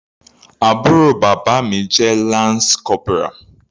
Àbúrò bàbá mi jẹ́ lance corporal.